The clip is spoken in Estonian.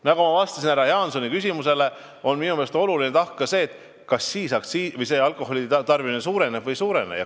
Nagu ma vastasin härra Jaansoni küsimusele, minu meelest on oluline tahk ka see, kas alkoholitarbimine siis suureneb või ei.